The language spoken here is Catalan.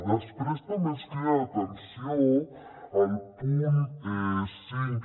després també ens crida l’atenció el punt cinc